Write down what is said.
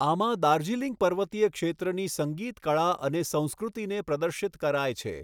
આમાં દાર્જિલિંગ પર્વતીય ક્ષેત્રની સંગીત કળા અને સંસ્કૃતિને પ્રદર્શિત કરાય છે.